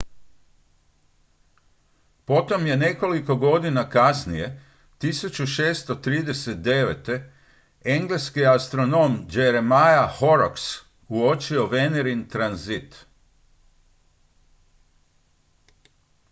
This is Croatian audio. potom je nekoliko godina kasnije 1639 engleski astronom jeremiah horrocks uočio venerin tranzit